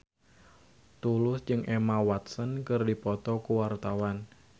Tulus jeung Emma Watson keur dipoto ku wartawan